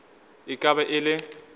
e ka be e le